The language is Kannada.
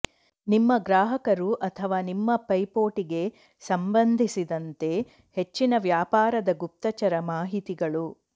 ನಿಮ್ಮ ಗ್ರಾಹಕರು ಅಥವಾ ನಿಮ್ಮ ಪೈಪೋಟಿಗೆ ಸಂಬಂಧಿಸಿದಂತೆ ಹೆಚ್ಚಿನ ವ್ಯಾಪಾರದ ಗುಪ್ತಚರ ಮಾಹಿತಿಗಳು